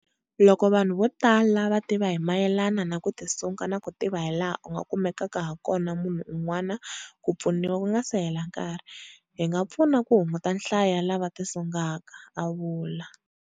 Loko vanhu vo tala va tiva hi mayelana na ku tisunga na ku tiva hilaha u nga kumelaka hakona munhu un'wana ku pfuniwa ku nga se hela nkarhi, hi nga pfuna ku hunguta nhlayo ya lava tisungaka, a vula.